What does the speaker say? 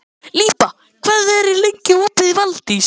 Líba, hvað er lengi opið í Valdís?